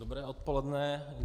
Dobré odpoledne.